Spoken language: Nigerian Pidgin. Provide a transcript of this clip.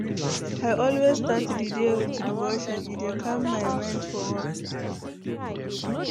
I always start di day with devotion, e dey calm my mind for work.